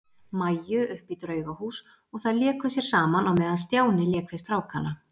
Maju upp í Draugahús og þær léku sér saman á meðan Stjáni lék við strákana.